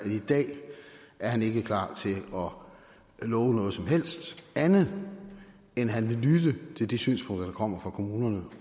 i dag ikke er klar til at love noget som helst andet end at han vil lytte til de synspunkter der kommer fra kommunerne